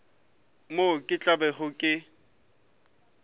moo ke tla bego ke